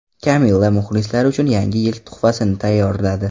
Kamilla muxlislari uchun Yangi Yil tuhfasini tayyorladi.